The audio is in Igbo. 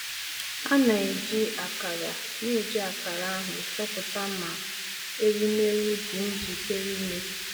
A na-eji akara na-eji akara ahụ́ chọpụta ma ewumewụ dị njikere ime.